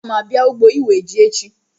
Aga m abịa n'ugbo iwe ji echi